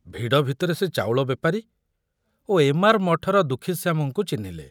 ଭିଡ଼ ଭିତରେ ସେ ଚାଉଳ ବେପାରୀ ଓ ଏମାର ମଠର ଦୁଃଖୀଶ୍ୟାମଙ୍କୁ ଚିହ୍ନିଲେ।